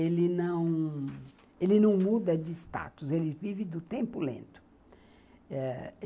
Ele não, ele não muda de status, ele vive do tempo lento.